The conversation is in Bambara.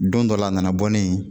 Don dɔ la a nana bɔ ne ye